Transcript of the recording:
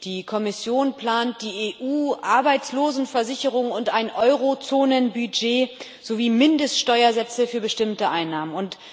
Die Kommission plant die EU-Arbeitslosenversicherung und ein Eurozonenbudget sowie Mindeststeuersätze für bestimmte Einnahmen.